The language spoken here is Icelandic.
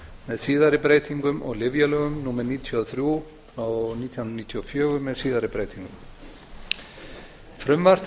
með síðari breytingum og lyfjalögum númer níutíu og þrjú nítján hundruð níutíu og fjögur með síðari breytingum frumvarp